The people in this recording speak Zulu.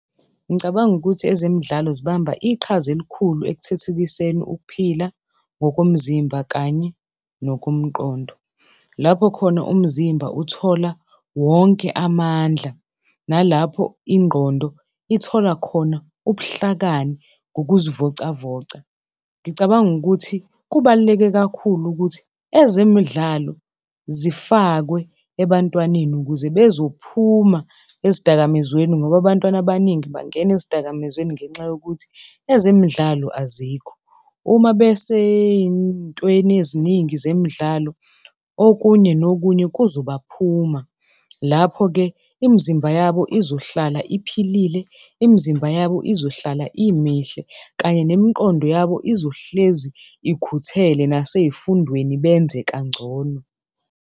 Ngicabanga ukuthi ezemidlalo zibamba iqhaza elikhulu ekuthuthukiseni ukuphila ngokomzimba kanye nokomqondo. Lapho khona umzimba uthola wonke amandla, nalapho ingqondo ithola khona ubuhlakani ngokuzivocavoca. Ngicabanga ukuthi kubaluleke kakhulu ukuthi ezemidlalo zifakwe ebantwaneni ukuze bezophuma ezidakamizweni ngoba abantwana abaningi bangena ezidakamizweni ngenxa yokuthi ezemidlalo azikho. Uma besey'ntweni eziningi zemidlalo okunye nokunye kuzobaphuma, lapho-ke imizimba yabo izohlala iphilile, imizimba yabo izohlala imihle kanye nemiqondo yabo izohlezi ikhuthele nasey'fundweni benze kangcono.